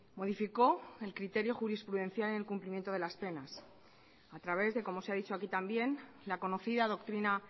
modificó el criterio jurisprudencial en el cumplimiento de las penas a traves de como se ha dicho aquí también la conocida doctrina